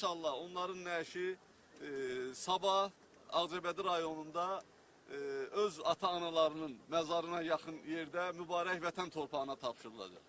İnşallah, onların nəşi sabah Ağcabədi rayonunda öz ata-analarının məzarına yaxın yerdə mübarək Vətən torpağına tapşırılacaq.